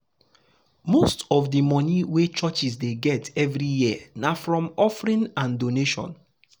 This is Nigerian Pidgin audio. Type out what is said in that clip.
most of the money wey churches dey get every year na from offering and donation.